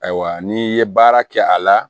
Ayiwa n'i ye baara kɛ a la